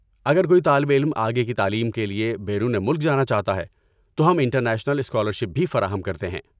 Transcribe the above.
اگر کوئی طالب علم آگے کی تعلیم کے لیے بیرون ملک جانا چاہتا ہے تو ہم انٹرنیشنل اسکالرشپ بھی فراہم کرتے ہیں۔